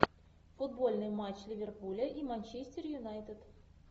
футбольный матч ливерпуля и манчестер юнайтед